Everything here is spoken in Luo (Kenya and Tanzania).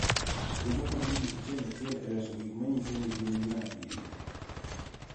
Kendo konyo ji achiel achiel e loso gik ma nyiso ni gin ng�a gini.